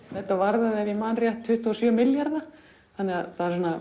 þetta varðaði ef ég man rétt tuttugu og sjö milljarða þannig að